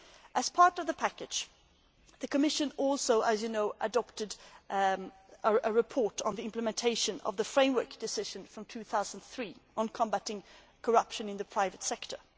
As part of the package, the Commission also adopted a report on the implementation of the framework decision from 2003 on combating corruption in the private sector.